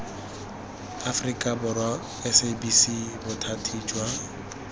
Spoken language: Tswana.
aforika borwa sabc bothati jo